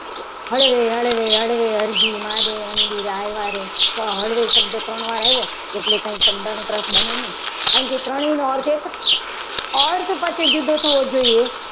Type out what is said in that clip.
હળવે હળવે હળવે અરજી મારી મંદિર આવ્યા. તો હળવે શબ્દ ત્રણ વાર આવ્યું એ શબ્દાનુપ્રાસ બને નહીં. આ જે ત્રણેયનો અર્થ એક જ છે. અર્થ પછી જુદો થવો જોઈએ.